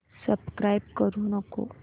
subscribe करू नको